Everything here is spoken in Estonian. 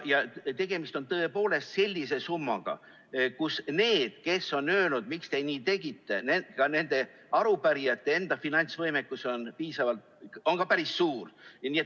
Tegemist on tõepoolest sellise summaga, et võib öelda: ka nendel, kes on öelnud, et miks te nii tegite, nendel arupärijatel on enda finantsvõimekus päris suur.